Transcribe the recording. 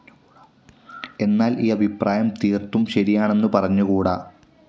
എന്നാൽ ഈ അഭിപ്രായം തീർത്തും ശരിയാണെന്നു പറഞ്ഞുകൂടാ.